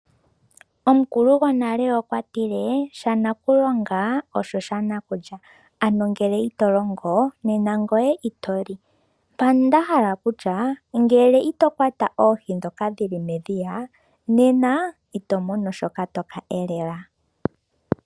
Omukulu gonale okwa tile sha nakulonga osho sha nakulya, ano ngele ito longo nena ito li. Mpano nda hala okutya ngele ito kwata oohi dhoka dhi li medhiya, nena ito mono shoka to ka elela.